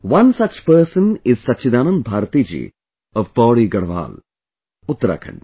One such person is Satchidanand Bharti ji of Pauri Garhwal, Uttarakhand